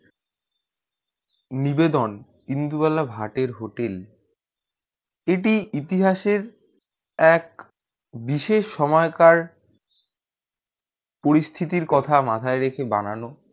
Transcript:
নিবেদন ইন্দুবালা ভাতের hotel এটি ইতিহাসের এক বিশেষ সময়কার পরিস্থিতির কথা মাথায় রেখে বানানো